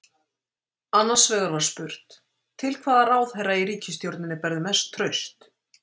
Annars vegar var spurt: Til hvaða ráðherra í ríkisstjórninni berðu mest traust?